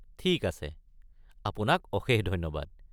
ঠিক আছে! আপোনাক অশেষ ধন্যবাদ।